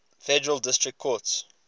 federal district courts